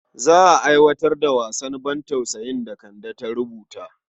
Za a aiwatar da wasan bantausayin da Kande ta rubuta.